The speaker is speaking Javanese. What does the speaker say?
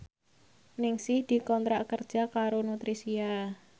Ningsih dikontrak kerja karo Nutricia